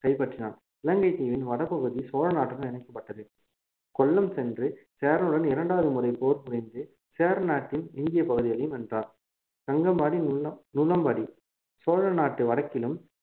கைப்பற்றினான் இலங்கை தீவின் வடபகுதி சோழ நாட்டுடன் இணைக்கப்பட்டது கொல்லம் சென்று சேரனுடன் இரண்டாவது முறை போர் புரிந்து சேரநாட்டின் எஞ்சிய பகுதிகளையும் வென்றான் கங்கபாடி நுள~ நுளம்பாடி சோழநாட்டு வடக்கிலும்